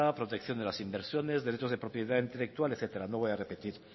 protección de las inversiones derechos de propiedad intelectual etcétera no voy a repetir